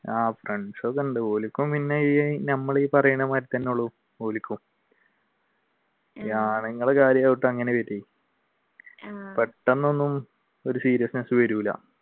ആഹ് friends ഒക്കെയുണ്ട്. പെട്ടെന്നൊന്നും ഒരു seriousness വരൂല